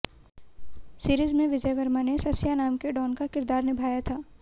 series में विजय वर्मा ने सस्या नाम के डॉन का किरदार निभाया था